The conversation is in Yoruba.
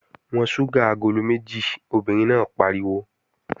Wọ́n ṣúgà agolo méjì! Obìnrin náà pariwo.